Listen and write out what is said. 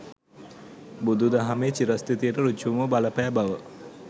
බුදු දහමේ චිරස්ථිතියට ඍජුවම බලපෑ බව